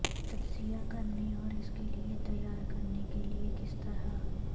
تجزیہ کرنے اور اس کے لئے تیار کرنے کے لئے کس طرح